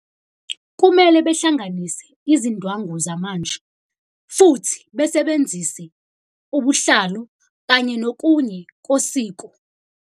Kumele behlanganise izindwangu zamanje, futhi besebenzise ubuhlalu kanye nokunye kosiko.